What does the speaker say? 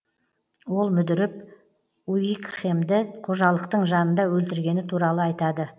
ол мүдіріп уикхемді қожалықтың жанында өлтіргені туралы айтады